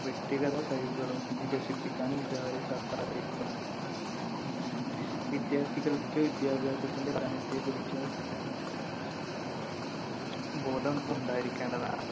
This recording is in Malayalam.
വ്യക്തിഗതകഴിവുകളും വികസിപ്പിക്കാനും ഇത് അവരെ സഹായിക്കുന്നു. വിദ്യാർത്ഥികൾക്ക് വിദ്യാഭ്യാസത്തിന്‍റെ പ്രാധാന്യത്തെക്കുറിച്ച് ബോധം ഉണ്ടായിരിക്കേണ്ടതാണ്.